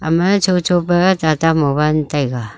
ama ye chocho pe tata mobile taiga.